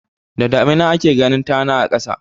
Da damina ake ganin tana a ƙasa.